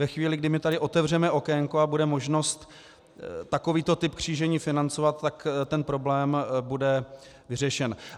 Ve chvíli, kdy my tady otevřeme okénko a bude možnost takovýto typ křížení financovat, tak ten problém bude vyřešen.